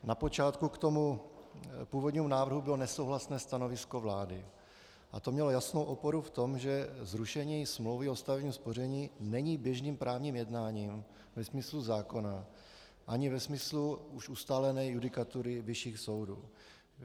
Na počátku k tomu původnímu návrhu bylo nesouhlasné stanovisko vlády a to mělo jasnou oporu v tom, že zrušení smlouvy o stavebním spoření není běžným právním jednáním ve smyslu zákona ani ve smyslu už ustálené judikatury vyšších soudů.